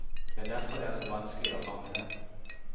Det er derfor det er så vanskelig å fange dem.